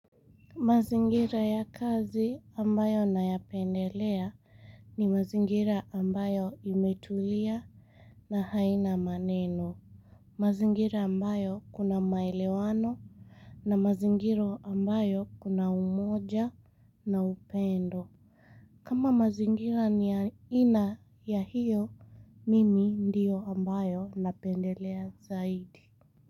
Mazingira ya kazi ambayo na ya pendelea ni mazingira ambayo imetulia na haina maneno. Mazingira ambayo kuna maelewano na mazingiro ambayo kuna umoja na upendo. Kama mazingira ni ya aina ya hiyo, mimi ndio ambayo napendelea zaidi.